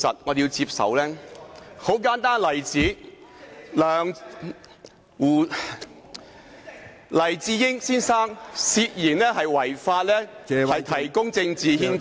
一個很簡單的例子是黎智英先生涉嫌違法提供政治獻金。